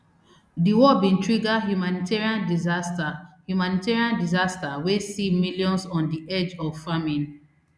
di war bin trigger humanitarian disaster humanitarian disaster wey see millions on di edge of famine